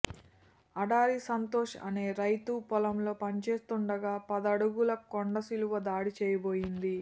ఆడారి సంతోష్ అనే రైతు పొలంలో పని చేస్తుండగా పదడుగుల కొండచిలువ దాడి చేయబోయింది